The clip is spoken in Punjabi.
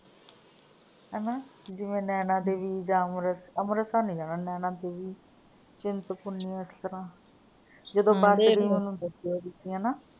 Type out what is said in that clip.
ਹਨਾ, ਜਿਵੇਂ ਨੈਣਾਂ ਦੇਵੀ ਜਾਂ ਅੰਮ੍ਰਿਤ ਅੰਮ੍ਰਿਤਸਰ ਨਹੀਂ ਜਾਣਾ ਨੈਣਾਂ ਦੇਵੀ, ਚਿੰਤਪੂਰਨੀ ਇਸਤਰਾਂ ਜਦੋਂ ਹਨਾ।